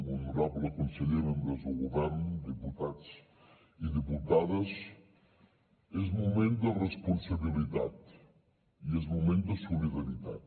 honorable conseller membres del govern diputats i diputades és moment de responsabilitat i és moment de solidaritat